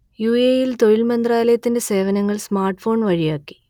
U A E യിൽ തൊഴിൽ മന്ത്രാലയത്തിന്റെ സേവനങ്ങൾ സ്മാർട്ട് ഫോൺ വഴിയാക്കി